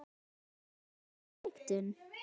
Má ekki draga þá ályktun?